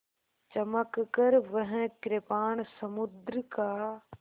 चमककर वह कृपाण समुद्र का